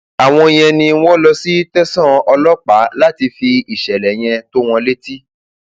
àwọn yẹn ni wọn lọ sí tẹsán ọlọpàá láti fi ìṣẹlẹ yẹn tó wọn létí